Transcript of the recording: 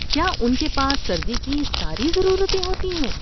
کیا ان کے پاس سردی کی ساری ضروریات ہوتی ہیں؟